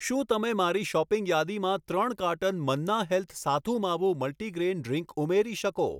શું તમે મારી શૉપિંગ યાદીમાં ત્રણ carton Manna health sathu maavu multigrain drink ઉમેરી શકશો